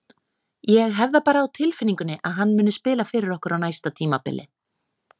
Ég hef það bara á tilfinningunni að hann muni spila fyrir okkur á næsta tímabili.